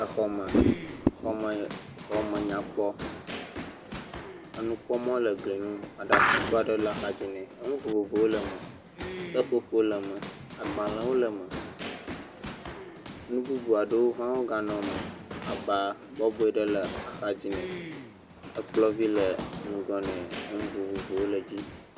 Exɔ me, xɔ me nyakpɔ, enukpɔmɔ le glie ŋu, aɖakago aɖe le axadzi nɛ, enu vovovowo le me, seƒoƒo le me, agbalẽwo le me, nu bubu aɖewo hã woganɔ me aba bɔbɔe aɖe le axadzi nɛ, ekplɔ vi le ŋgɔ nɛ nu vovovowo le dzi.